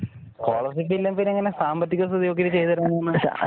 scholarship ഇല്ലേ പിന്നെ എങ്ങനാ സാമ്പത്തിക സ്ഥിതി നോക്കി ചെയ്ത് തരുന്നെ